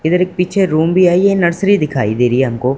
इधर एक पीछे रूम भी है ये नर्सरी दिखाई दिखाई दे रही हैं हमको।